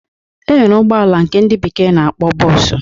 E nwere ụgbọala nke ndị bekee na-akpọ bọọsụ.